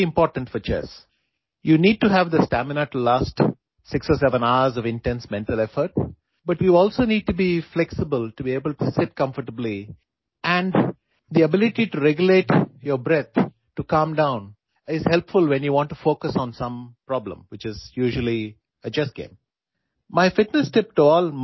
آپ کو 6 یا 7 گھنٹے کی شدید ذہنی مشقت کے لیے اسٹیمنا کی ضرورت ہے، لیکن آپ کو آرام سے بیٹھنے کے لیے لچکدار ہونے کی بھی ضرورت ہے اور جب آپ کسی مسئلے پر توجہ مرکوز کرنا چاہتے ہیں، تو آپ کو پرسکون ہونے کے لیے اپنی سانسوں کو کنٹرول کرنے کی صلاحیت مددگار ثابت ہوتی ہے، جو عام طور پر شطرنج کا کھیل ہے